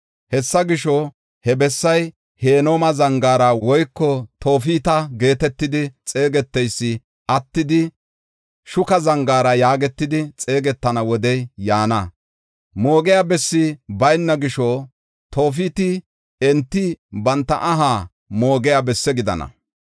Hessa gisho, he bessay Hinooma Zangaara woyko Toofeta geetetidi xeegeteysi attidi, Shuka Zangaara yaagetidi xeegetana wodey yaana. Moogiya bessi bayna gisho, Toofeti enti banta aha moogiya bessi gidana.